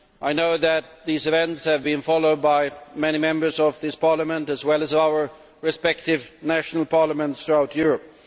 I know that these events have been followed by many Members of this Parliament as well as our respective national parliaments throughout Europe.